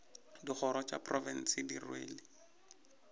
dikgoro tša profense di rwele